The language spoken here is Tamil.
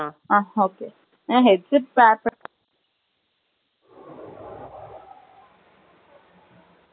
Oh , Ok . Headset Battery .